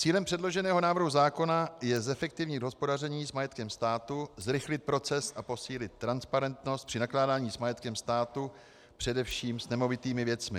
Cílem předloženého návrhu zákona je zefektivnit hospodaření s majetkem státu, zrychlit proces a posílit transparentnost při nakládání s majetkem státu, především s nemovitými věcmi.